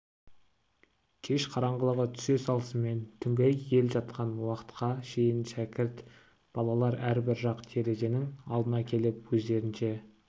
кеш қараңғылығы түсе салысымен түнгі ел жатқан уақытқа шейін шәкірт балалар әрбір жарық терезенің алдына келіп өздерінше